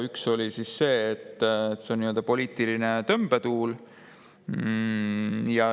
Üks oli selline, et see on nii-öelda poliitiline tõmbetuul.